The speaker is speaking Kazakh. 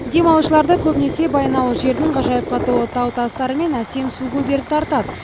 демалушыларды көбінесе баянауыл жерінің ғажайыпқа толы тау тастары мен әсем су көлдері тартады